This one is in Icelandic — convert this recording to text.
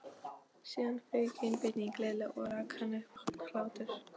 Síðan fauk einbeiting Lilla og hann rak upp roknahlátur.